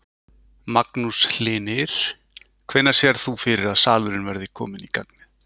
Magnús Hlynir: Hvenær sérð þú fyrir að salurinn verði kominn í gagnið?